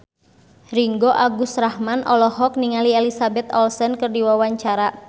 Ringgo Agus Rahman olohok ningali Elizabeth Olsen keur diwawancara